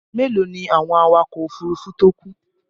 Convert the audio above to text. Mélòó ni àwọn awakọ̀ òfurufú tó kú?